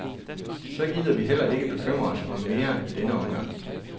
Så gider vi heller ikke bekymre os mere i denne omgang.